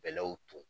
Bɛlɛw ton